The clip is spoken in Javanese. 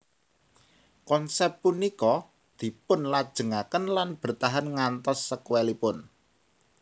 Konsep punika dipunlajengaken lan bertahan ngantos sekuelipun